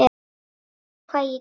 Veistu hvað ég geri?